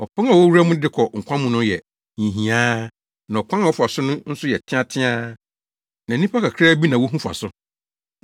Ɔpon a wowura mu de kɔ nkwa mu no yɛ hiahiaa na ɔkwan a wɔfa so no nso yɛ teateaa, na nnipa kakraa bi na wohu fa so.